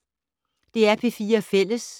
DR P4 Fælles